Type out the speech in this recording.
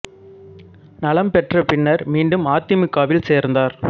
நலம்பெற்ற பின்னர் மீண்டும் அ தி மு க வில் சேர்ந்தார்